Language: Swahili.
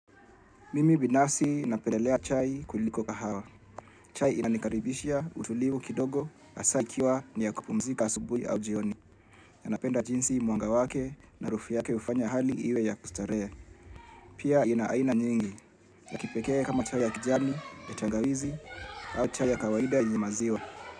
Mimi binafsi napendelea chai kuliko kahawa. Chai inanikaribishia utulivu kidogo, hasa ikiwa niya kupumzika asubui au jioni. Napenda jinsi mwanga wake na harufu yake hufanya hali iwe ya kustarehe. Pia ina aina nyingi, ya kipekee kama chai ya kijani, ya tangawizi au chai ya kawaida yenye maziwa.